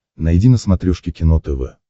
найди на смотрешке кино тв